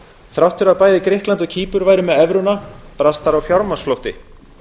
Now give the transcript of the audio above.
þrátt fyrir að bæði grikkland og kýpur væru með evruna brast þar á fjármagnsflótti